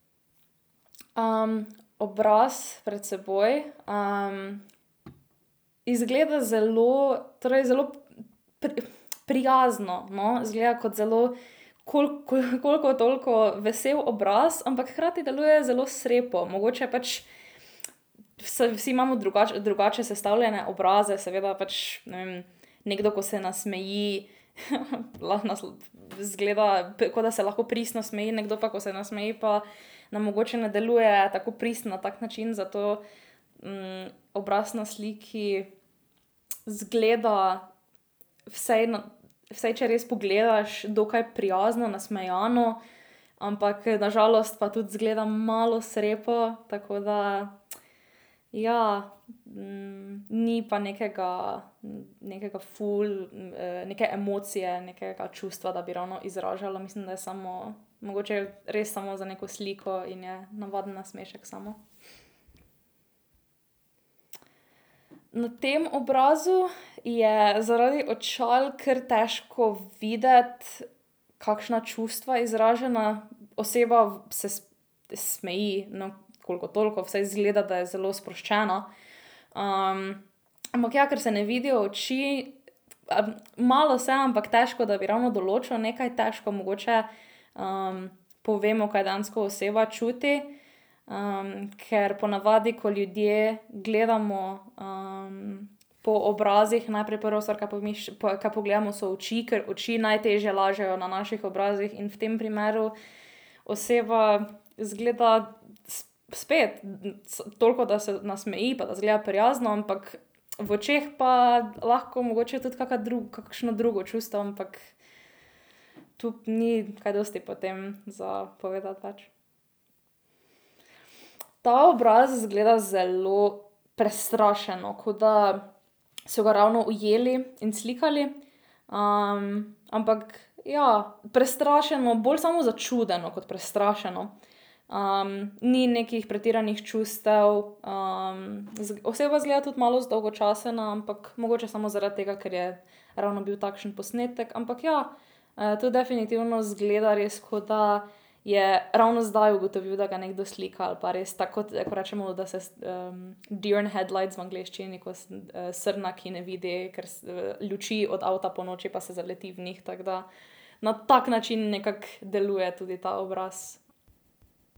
obraz pred seboj, izgleda zelo, torej zelo prijazno, no. Izgleda kot zelo koliko toliko vesel obraz, ampak hkrati deluje zelo srepo. Mogoče pač, vsi imamo drugače sestavljene obraze, seveda. Pač, ne vem, nekdo, ko se nasmeji, lahko nas izgleda, ko da se lahko pristno smeji, nekdo pa, ko se nasmeji, pa nam mogoče ne deluje tako pristen, na tak način. Zato. obraz na sliki izgleda vsaj vsaj, če res pogledaš, dokaj prijazno, nasmejano, ampak, na žalost pa tudi izgleda malo srepo, tako da, ja, ni pa nekega, nekega ful, neke emocije, nekega čustva, da bi ravno izražala. Mislim, da je samo mogoče res samo za neko sliko in je navaden nasmešek samo. Na tem obrazu je zaradi očal kar težko videti, kakšna čustva izražena. Oseba se smeji, no, koliko toliko, vsaj izgleda, da je zelo sproščena. ampak ja, ker se ne vidijo oči, malo se, ampak težko, da bi ravno določil nekaj. Težko mogoče, povemo, kaj dejansko oseba čuti, ker ponavadi, ko ljudje gledamo, po obrazih, najprej prva stvar, kaj kaj pogledamo, so oči, ker oči najtežje lažejo na naših obrazih. In v tem primeru oseba izgleda spet, toliko, da se nasmeji, pa da izgleda prijazno, ampak v očeh pa je lahko tudi kaka kakšno drugo čustvo. Ampak tu ni kaj dosti potem za povedati več. Ta obraz zgleda zelo prestrašeno. Kot da so ga ravno ujeli in slikali. ampak ja, prestrašeno. Bolj samo začudeno kot prestrašeno. ni nekih pretiranih čustev, oseba izgleda tudi malo zdolgočasena, ampak mogoče samo zaradi tega, ker je ravno bil takšen posnetek. Ampak ja, to definitivno izgleda res, kot da je ravno zdaj ugotovil, da ga nekdo slika, ali pa res tako, kot rečemo, da se deer headlights v angleščini, ko se srna, ki ne vidi luči od avta ponoči, pa se zaleti v njih. Tako da na tak način nekako deluje tudi ta obraz.